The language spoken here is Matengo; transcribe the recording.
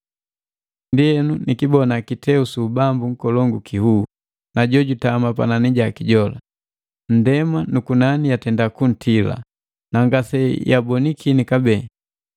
Ndienu nikibona kiteu su ubambu kikolongu kinhuu, na jojutama panani jaki jola. Ndema nu kunani yatenda kuntila, na ngase yabonikini kabee.